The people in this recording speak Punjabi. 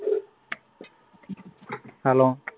hello